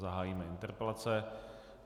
Zahájíme interpelace.